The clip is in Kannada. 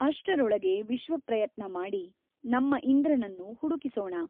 ಅಷ್ಟರೊಳಗೆ ವಿಶ್ವಪ್ರಯತ್ನಮಾಡಿ ನಮ್ಮ ಇಂದ್ರನನ್ನು ಹುಡುಕಿಸೋಣ.